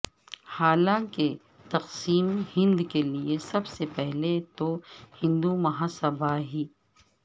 حالانکہ تقسیم ہند کیلئے سب سے پہلے تو ہندو مہا سبھا ہی